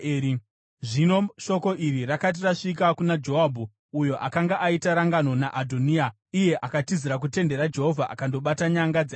Zvino shoko iri rakati rasvika kuna Joabhu, uyo akanga aita rangano naAdhoniya asi kwete naAbhusaromu, iye akatizira kutende raJehovha akandobata nyanga dzearitari.